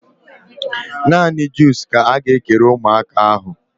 Naanị juus ka a ga-ekere ụmụaka ahụ